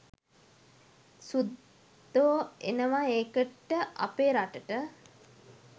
සුද්දො එනව ඒකට අපේ රටට.